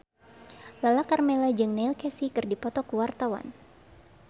Lala Karmela jeung Neil Casey keur dipoto ku wartawan